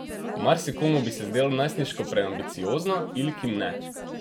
Marsikomu bi se zdelo najstniško preambiciozno, Ilki ne.